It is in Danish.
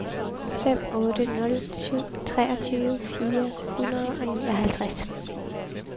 fem otte nul syv treogtyve fire hundrede og nioghalvtreds